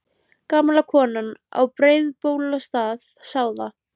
Gamla konan á Breiðabólsstað sá þá.